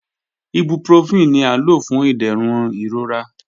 Ibuprofen ni a lo fun iderun irora.